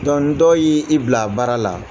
dɔw y'i bila baara la